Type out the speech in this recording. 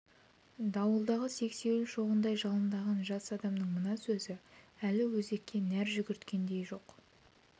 дауылдағы сексеуіл шоғындай жалындаған жас адамның мына сөзі өлі өзекке нәр жүгірткендей жоқ-жұтаң жұрт теңіз толқынындай буырқанып буыршындай